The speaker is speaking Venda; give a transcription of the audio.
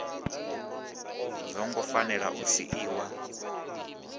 zwo ngo fanela u siiwa